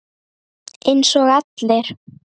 Eins og allir.